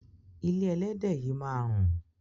Ilé ẹlẹ́dẹ̀ yìí máa rùn.